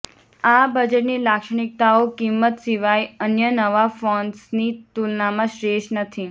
આ બજેટની લાક્ષણિકતાઓ કિંમત સિવાય અન્ય નવા ફોન્સની તુલનામાં શ્રેષ્ઠ નથી